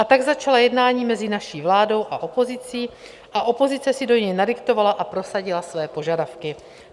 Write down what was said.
A tak začala jednání mezi naší vládou a opozicí a opozice si do něj nadiktovala a prosadila své požadavky.